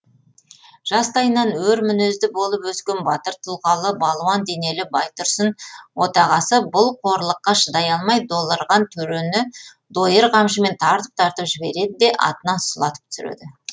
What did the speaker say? жастайынан өр мінезді болып өскен батыр тұлғалы балуан денелі байтұрсын отағасы бұл қорлыққа шыдай алмай долырған төрені дойыр қамшымен тартып тартып жібереді де атынан сұлатып түсіреді